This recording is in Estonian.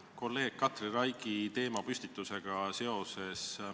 Küsin kolleeg Katri Raigi teemapüstitusega seoses.